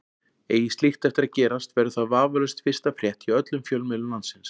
Eigi slíkt eftir að gerast verður það vafalaust fyrsta frétt hjá öllum fjölmiðlum landsins.